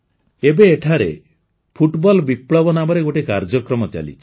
ଏବେ ଏଠାରେ ଫୁଟବଲ ବିପ୍ଳବ ନାମରେ ଗୋଟିଏ କାର୍ଯ୍ୟକ୍ରମ ଚାଲିଛି